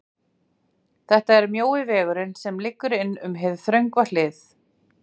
þetta er mjói vegurinn, sem liggur inn um hið þröngva hliðið.